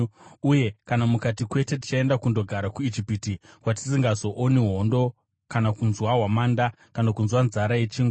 uye kana mukati, ‘Kwete tichaenda kundogara kuIjipiti, kwatisingazooni hondo kana kunzwa hwamanda kana kunzwa nzara yechingwa,’